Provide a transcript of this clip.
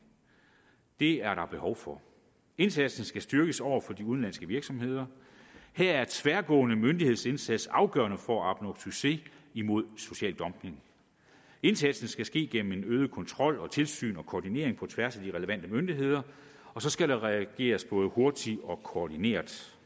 det er der behov for indsatsen skal styrkes over for de udenlandske virksomheder her er tværgående myndighedsindsats afgørende for at opnå succes med imod social dumping indsatsen skal ske gennem en øget kontrol og tilsyn og koordinering på tværs af de relevante myndigheder og så skal der reageres både hurtigt og koordineret